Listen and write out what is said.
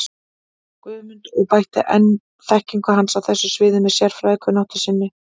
Guðmund og bætti enn þekkingu hans á þessu sviði með sérfræðikunnáttu sinni.